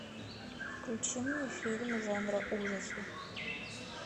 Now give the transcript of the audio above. включи мне фильм жанра ужасы